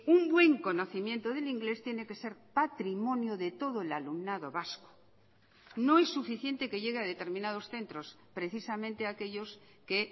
un buen conocimiento del inglés tiene que ser patrimonio de todo el alumnado vasco no es suficiente que llegue a determinados centros precisamente a aquellos que